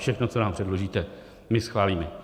Všechno, co nám předložíte, my schválíme.